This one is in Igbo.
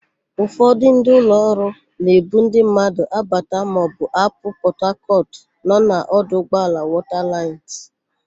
Ụfọdụ ndị ụlọọrụ na-ebu ndị mmadụ abata maọbụ apụ Pọtakọtụ nọ na ọdụụgbọala Wọtalaịnsị.